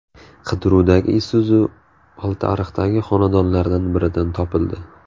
Qidiruvdagi Isuzu Oltiariqdagi xonadonlardan biridan topildi.